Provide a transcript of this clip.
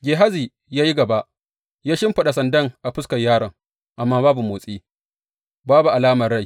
Gehazi ya yi gaba, ya shimfiɗa sandan a fuskar yaron, amma babu motsi, babu alamar rai.